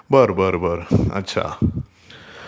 बार बार ...अच्छा अच्छा